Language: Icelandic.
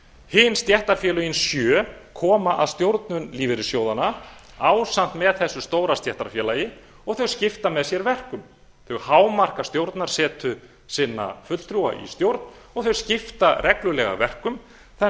hin stéttarfélögin sjö koma að stjórnun lífeyrissjóðanna ásamt með þessu stóra stéttarfélagi og þau skipta með sér verkum þau hámarka stjórnarsetu sinna fulltrúa í stjórn og þau skipta reglulega verkum þannig